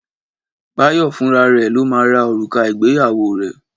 Báyọ̀ fúnra rẹ̀ ló máa ra òrùka ìgbéyàwó rẹ̀